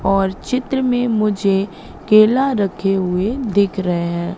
और चित्र मे मुझे केला रखे हुए दिख रहे हैं।